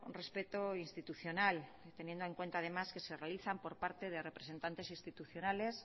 respeto institucional teniendo en cuenta además que se realizan por parte de representantes institucionales